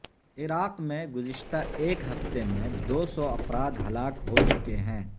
عراق میں گزشتہ ایک ہفتے میں دو سو افراد ہلاک ہو چکے ہیں